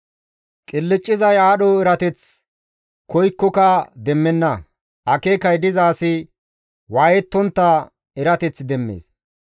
Qilccizay aadho erateth koykkoka demmenna; akeekay diza asi waayettontta erateth demmees.